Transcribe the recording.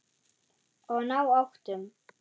Og ná áttum.